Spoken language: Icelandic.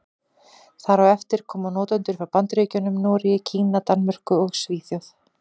Þar á eftir koma notendur frá Bandaríkjunum, Noregi, Kína, Danmörku og Svíþjóð.